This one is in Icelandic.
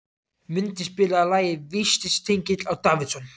Mundi, spilaðu lagið „Vítisengill á Davidson“.